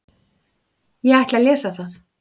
Ég ætla að lesa það.